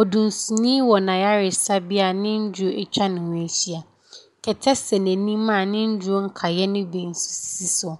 Odunsini wɔ n’ayaresabea a ne nnuro atwa ne ho ahyia, kɛtɛ sɛɛ n’anim a ne nnuro nkaeɛ no sisi so.